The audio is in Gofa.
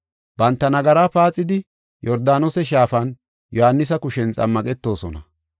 Banta nagaraa paaxidi Yordaanose Shaafan Yohaanisa kushen xammaqetosona.